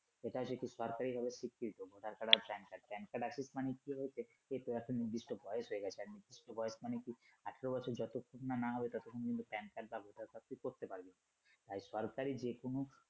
এটা যেহেতু সরকারিভাবে স্বীকৃত যারকারনে Pan card আসুক মানে কি হয়েছে যে এখন নির্দিষ্ট বয়স হয়ে গেছে আরকি সেই বয়স মানে আঠারো বছর যতক্ষণ না না হবে ততক্ষণ পর্যন্ত Pan card টা তুই ব্যাবহার করতে পারবি মানে সরকারি যেকোন